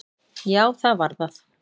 Já, það var það.